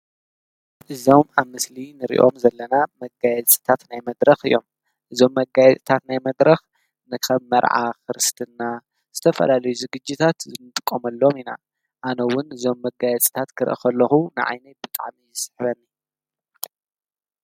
እዞም አብ ምስሊ እንሪኦም ዘለና መጋየፅታት ናይ መድረኽ እዮም። እዞም መጋየፅታት ናይ መድረኽ ከም መርዓ፣ ክርስትና፣ ዝተፈላለዩ ዝግጅታት እንጥቀመሎም ኢና አነ እውን እዞም መጋየፅታት ክርኢ ከለኹ ንዓይነይ ብጣዕሚ እዩ ዝስሕበኒ።